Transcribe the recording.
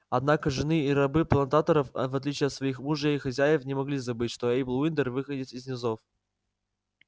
однако жены и рабы плантаторов аа в отличие от своих мужей и хозяев не могли забыть что эйбл уиндер выходец из низов